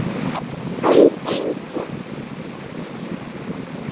Veit enginn?